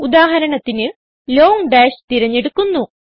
ഉദാഹരണത്തിന് long dash തിരഞ്ഞെടുക്കുന്നു